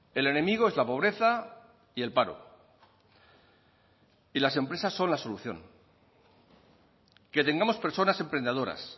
el enemigo es la pobreza y el paro y las empresas son la solución que tengamos personas emprendedoras